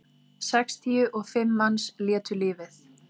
Sextíu og fimm manns létu lífið